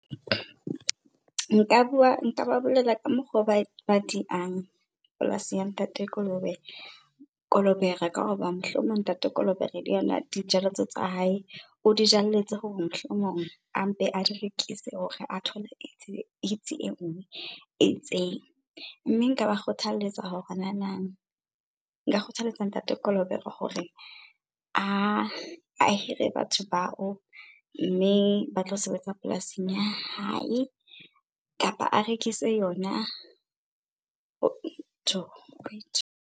Nka bua, nka ba bolela ka mokgo ba diang polasi ya Ntate Kolobere, ka hoba mohlomong Ntate Kolobere le yona dijalo tseo tsa hae o di jalletse hore mohlomong a mpe a di rekise hore a thola engwe e itseng. Mme nka ba kgothaletsa hore , nka kgothaletsa Ntate Kolobere hore a hire batho bao mme ba tlo sebetsa polasing ya hae, kapa a rekise yona .